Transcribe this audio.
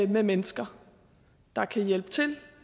med mennesker der kan hjælpe til